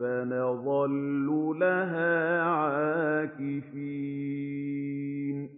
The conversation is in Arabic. فَنَظَلُّ لَهَا عَاكِفِينَ